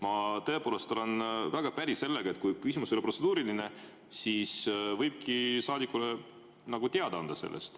Ma tõepoolest olen väga päri sellega, et kui küsimus ei ole protseduuriline, siis võibki saadikule sellest teada anda.